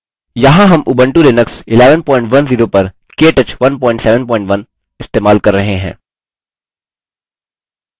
यहाँ हम Ubuntu Linux 1110 पर केटच 171 इस्तेमाल कर रहे हैं